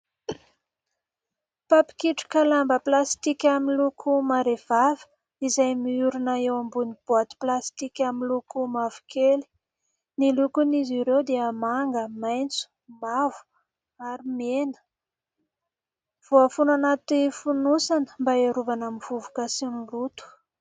Mpapikitroka lamba "plastique" miloko marehivava izay miorina eo ambonin'ny "boite" "plastique" amin'ny loko mavokely. Ny lokon'izy ireo dia: manga, maitso, mavo ary mena. Voafono anaty fonosana mba hiarovana amin'ny vovoka sy ny loto.